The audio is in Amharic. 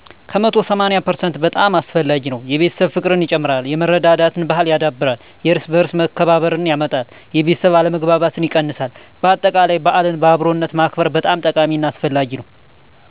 ከመቶ ሰማኒያ ፐርሰንት በጣም አስፈላጊ ነው። የቤተሰብ ፍቅርን ይጨምራል፣ የመረዳዳት ባሕልን ያዳብራል፣ የየእርስ በእርስ መከባበርን ያመጣል፣ የቤተሠብ አለመግባባትን ይቀንሳል በአጠቃላይ በዓልን በአብሮነት ማክበር በጣም ጠቃሚ እና አስፈላጊ ነው።